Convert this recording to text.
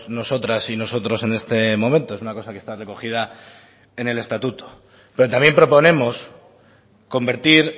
nosotras y nosotros en este momento es una cosa que está recogida en el estatuto pero también proponemos convertir